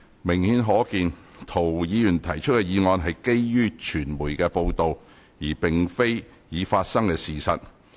明顯可見，涂議員提出的議案是基於傳媒的報道，而並非已發生的事實。